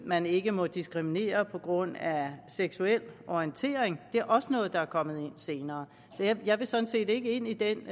man ikke må diskriminere på grund af seksuel orientering og det er også noget der er kommet ind senere så jeg vil sådan set ikke ind i den